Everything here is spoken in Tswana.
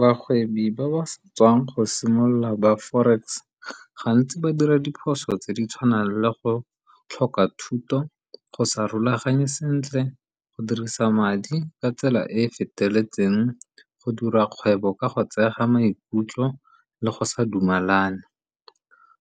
Bagwebi ba ba sa tswang go simolola ba forex gantsi ba dira diphoso tse di tshwanang le go tlhoka thuto, go sa rulaganye sentle, go dirisa madi ka tsela e e feteletseng, go dira kgwebo ka go tseega maikutlo, le go sa dumalane.